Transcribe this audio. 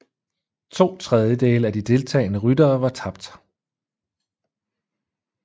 To tredjedele af de deltagende ryttere var tabt